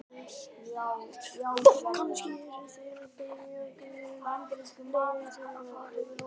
Kannski eru þeir að biðja guð um leyfi til að fara yfir lóðina hans.